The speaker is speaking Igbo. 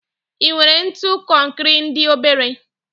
I nwere ntu konkri ndi obere?